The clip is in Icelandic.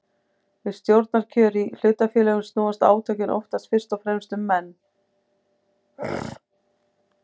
Við stjórnarkjör í hlutafélögum snúast átökin oftast fyrst og fremst um menn.